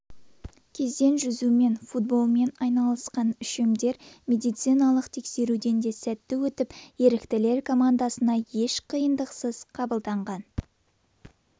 кезден жүзумен футболмен айналысқан үшемдер медициналық тексеруден де сәтті өтіп еріктілер командасына еш қиындықсыз қабылданған